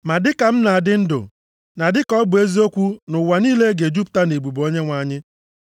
Ma dịka m na-adị ndụ na dịka ọ bụ eziokwu na ụwa niile ga-ejupụta nʼebube Onyenwe anyị.